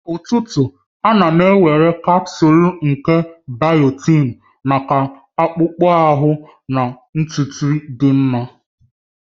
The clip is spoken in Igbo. Kwa ụtụtụ, ana m ewere kapsul nke biotin maka akpụkpọ ahụ na ntutu dị mma.